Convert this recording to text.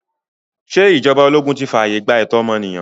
Ṣé ìjọba ologun ti fààye gbà ẹ̀tọ́ ọmọnìyàn?